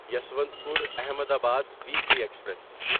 Yesvantpur Ahmedabad weekly express